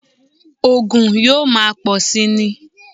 Ògùn yóò máa pọ̀ síi ni